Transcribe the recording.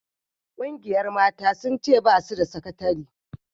Ƙungiyar mata sun ce ba su da sakatari